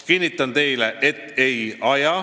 " Kinnitan teile, et ei aja.